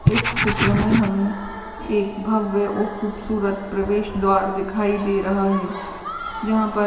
इस चित्र मे हमें एक भव्य और खूबसूरत प्रवेश द्वार दिखाई दे रहा है जहाँ पर --